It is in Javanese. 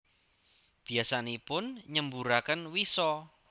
Biyasanipun nyemburaken wisa